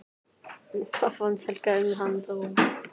Hvað fannst Helga um þann dóm?